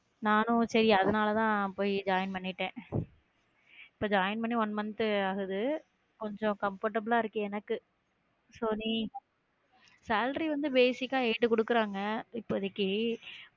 நானும் செரி அதனாலதான் போய் join பண்ணிட்டேன் join பண்ணி one month ஆகுது கொஞ்சம் comfortable ஆ இருக்கு எனக்கு so நீ salary வந்து basic ஆ eight குடுக்குறாங்க இப்போதைக்கு